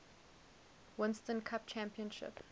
winston cup championship